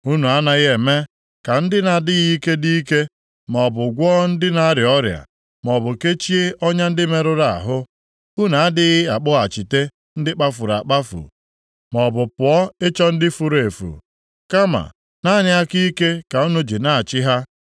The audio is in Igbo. Unu anaghị eme ka ndị na-adịghị ike dị ike, maọbụ gwọọ ndị na-arịa ọrịa, maọbụ kechie ọnya ndị merụrụ ahụ. Unu adịghị akpọghachite ndị kpafuru akpafu, maọbụ pụọ ịchọ ndị furu efu. Kama naanị aka ike ka unu ji na-achị ha.